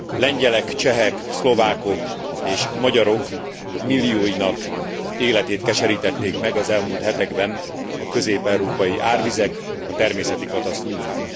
Lengyelek, csehek, szlovákok és magyarok millióinak életét keserítették meg az elmúlt hetekben a közép európai árvizek, a természeti katasztrófák.